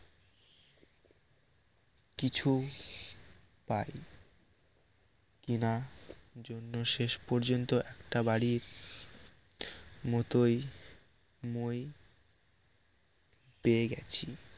কিছু পাইনি কিনা জন্য শেষ পর্যন্ত একটা বাড়ির মতোই মই পেয়ে গেছি